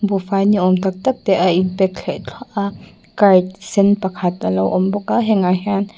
buhfai ni awm tak tak te a in pack thleh thluah a cart sen pakhat a lo awm bawk a hengah hian --